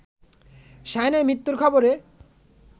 শাহীনের মৃত্যুর খবরে